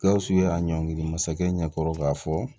Gawusu ye a ɲɔngiri masakɛ ɲɛkɔrɔ k'a fɔ